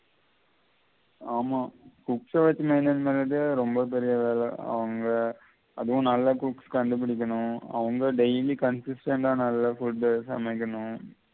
ஆமா cooks எ வெச்சி maintain பண்றது ரொம்ப பெரிய வெள அவங்க அதுவும் நல்ல cooks கண்டுபிடிக்கணும்அவங்க daily டே டா நல்ல food சமைக்கணும்